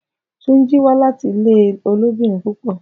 Tunji wa lati ile ilobirin pupọ.